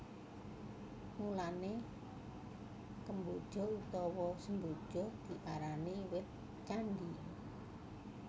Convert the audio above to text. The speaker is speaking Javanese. Mulané kemboja utawa semboja diarani wit candhi